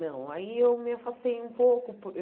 Não, aí eu me afastei um pouco. Por